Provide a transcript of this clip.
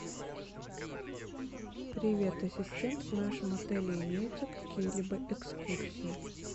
привет ассистент в нашем отеле имеются какие либо экскурсии